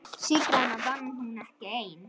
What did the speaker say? Sigrana vann hún ekki ein.